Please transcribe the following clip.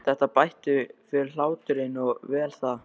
Þetta bætti fyrir hláturinn og vel það.